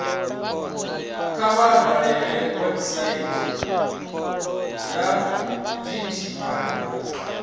kha vha dalele website ya dti